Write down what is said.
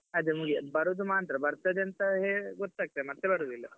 ಅದೇ ಮುಗಿಲು ಬರುದು ಮಾತ್ರ ಬರ್ತದೇ ಅಂತ ಹೇಗೆ ಗೊತ್ತಾಗ್ತದೆ ಮತ್ತೆ ಬರುದಿಲ್ಲ.